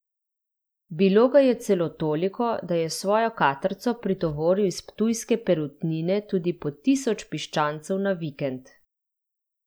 Bilo ga je celo toliko, da je s svojo katrco pritovoril iz ptujske Perutnine tudi po tisoč piščancev na vikend.